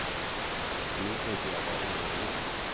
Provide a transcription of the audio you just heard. Och nu tänker jag vara ohövlig.